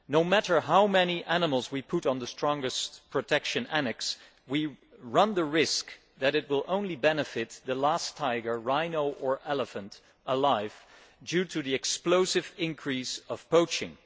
No matter how many animals we put on the strongest protection annex, we run the risk that it will only benefit the last tiger, rhino or elephant alive due to the explosive increase in poaching.